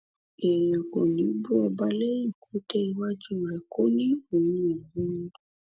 èèyàn kò ní í bú ọba lẹyìn kó dé iwájú rẹ kó ní òun bú u